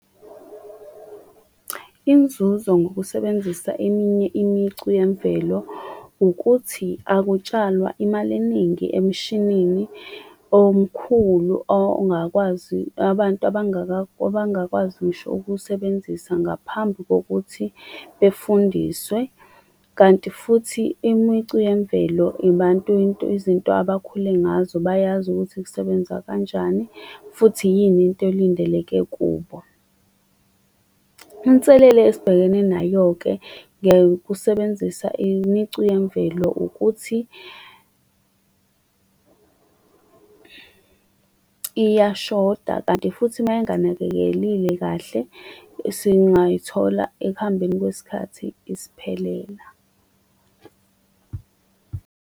Inzuzo ngokusebenzisa eminye imicu yemvelo, ukuthi akutshalwa imali eningi emshinini omkhulu ongakwazi abantu abangakwazi ngisho ukuwusebenzisa ngaphambi kokuthi befundiswe. Kanti futhi imicu yemvelo izinto abakhule ngazo bayazi ukuthi kusebenza kanjani, futhi yini into elindeleke kubo. Inselele esibhekene nayo-ke, ngekusebenzisa imicu yemvelo, ukuthi iyashoda, kanti futhi uma inganakekelile kahle, singayithola ekuhambeni kwesikhathi isiphelela.